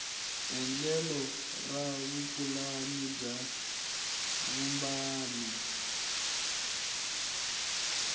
endlelo ra vupulani bya vumbano